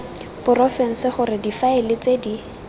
porofense gore difaele tse di